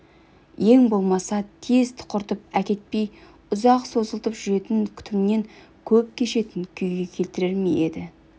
ең болмаса тез тұқыртып әкетпей ұзақ созылтып жүретін күтіммен көп кешетін күйге келтірер ме еді